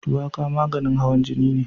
Shuwaka maganin hawan jini ce.